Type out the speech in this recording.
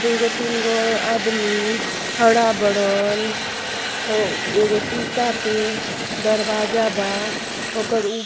दूगो तीन गो आदमी खड़ा बड़न। ओ एगो शीशा के दरवाजा बा। ओकर उप --